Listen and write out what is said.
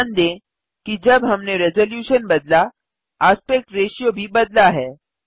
ध्यान दें कि जब हमने रेज़ूलेशन बदला एस्पेक्ट रेशियो भी बदला है